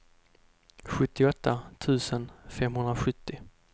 sjuttioåtta tusen femhundrasjuttio